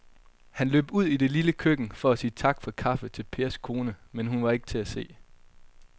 Han løb ud i det lille køkken for at sige tak for kaffe til Pers kone, men hun var ikke til at se.